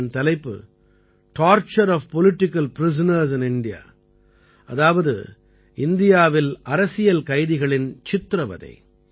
இதன் தலைப்பு torture of political prisoners in India அதாவது இந்தியாவில் அரசியல் கைதிகளின் சித்திரவதை